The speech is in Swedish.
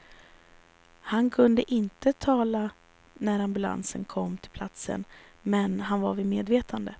Han kunde inte tala när ambulansen kom till platsen, men han var vid medvetande.